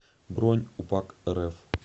бронь упакрф